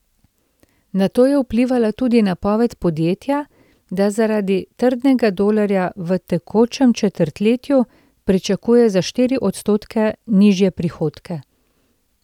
Na to je vplivala tudi napoved podjetja, da zaradi trdnega dolarja v tekočem četrtletju pričakuje za štiri odstotke nižje prihodke.